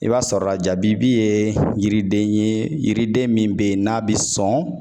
I b'a sɔrɔ la jabibi ye yiriden ye yiriden min be ye n'a bi sɔn